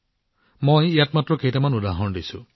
মই ইয়াত মাত্ৰ কেইটামান উদাহৰণ দিছো